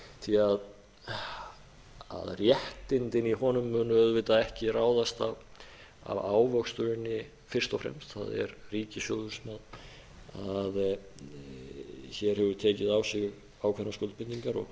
því að réttindin í honum munu auðvitað ekki ráðast af ávöxtuninni fyrst og fremst það er ríkissjóður sem hér hefur tekið á sig ákveðnar skuldbindingar og